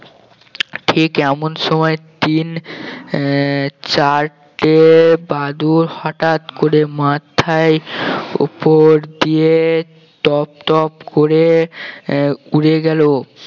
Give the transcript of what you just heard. ঠিক এমন সময় তিন আহ চারটে বাদুড় হঠাৎ করে মাথার ওপর দিয়ে টপ টপ করে আহ উড়ে গেল